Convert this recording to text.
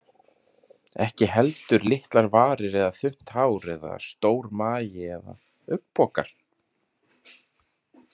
Ekki heldur litlar varir eða þunnt hár eða stór magi eða augnpokar.